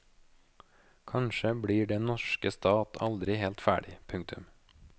Kanskje blir den norske stat aldri helt ferdig. punktum